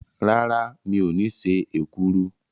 Rárá, mi ò ní ṣe èkuru.